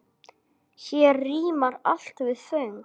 Hér rímar allt við föng.